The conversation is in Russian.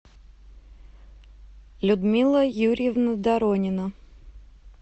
людмила юрьевна доронина